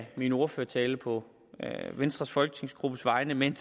af min ordførertale på venstres folketingsgruppes vegne men